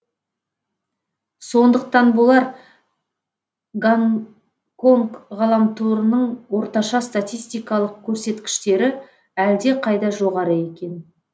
сондықтан болар гонконг ғаламторының орташа статистикалық көрсеткіштері әлде қайда жоғары екен